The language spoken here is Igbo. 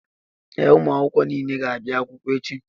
Ee, ụmụ akwụkwọ niile ga-abịa akwụkwọ echi.